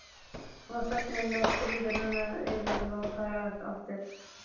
Og þögnin skríður yfir þær aftur.